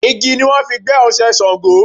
Igi ni wọ́n fi gbẹ́ Oṣé Ṣàngó.